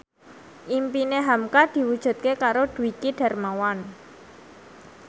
impine hamka diwujudke karo Dwiki Darmawan